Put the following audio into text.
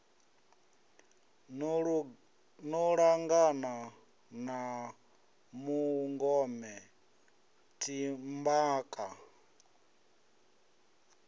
no langana na mungome timhaka